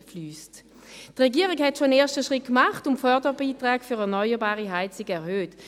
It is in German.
Die Regierung hat schon einen ersten Schritt gemacht, und die Förderbeiträge für erneuerbare Heizungen erhöht.